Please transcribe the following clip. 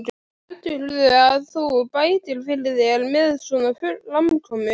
Heldurðu að þú bætir fyrir þér með svona framkomu?